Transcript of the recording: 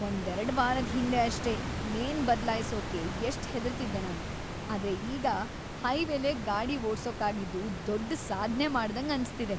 ಒಂದೆರಡ್ ವಾರದ್ ಹಿಂದೆ ಅಷ್ಟೇ, ಲೇನ್‌ ಬದ್ಲಾಯ್ಸೋಕೆ ಎಷ್ಟ್‌ ಹೆದರ್ತಿದ್ದೆ ನಾನು, ಆದ್ರೆ ಈಗ ಹೈವೇಲೇ ಗಾಡಿ ಓಡ್ಸೋಕಾಗಿದ್ದು ದೊಡ್ಡ್‌ ಸಾಧ್ನೆ ಮಾಡ್ದಂಗ್‌ ಅನ್ಸ್ತಿದೆ.